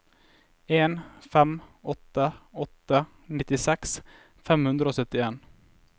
en fem åtte åtte nittiseks fem hundre og syttien